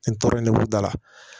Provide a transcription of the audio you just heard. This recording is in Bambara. Nin tɔɔrɔ in ne b'u da la